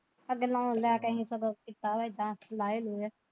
ਅੱਗੇ ਲੋਨ ਲੈ ਕੇ ਅਸੀਂ ਸਗੋਂ ਸਾਰੇ ਥਾਂ ਲਾਓ ਲੁਏ।